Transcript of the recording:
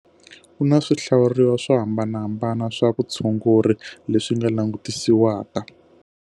Ku na swihlawuriwa swo hambanahambana swa vutshunguri leswi nga langutisisiwaka.